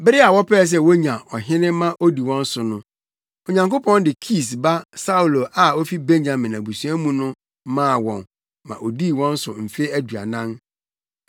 Bere a wɔpɛɛ sɛ wonya ɔhene ma odi wɔn so no, Onyankopɔn de Kis ba Saulo a ofi Benyamin abusua mu no maa wɔn ma odii wɔn so mfe aduanan.